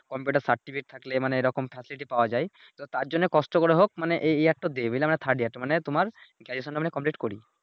computer certificate থাকলে মানে এইরকম থাকলে এটি পাওয়া যায় তো তার জন্য কষ্ট করে হোক মানে এই মানে তোমার Graduation আমরা কমপ্লিট করি